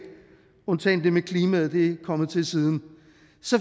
undtagen det med klimaet det er kommet til siden